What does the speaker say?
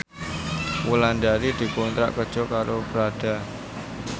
Wulandari dikontrak kerja karo Prada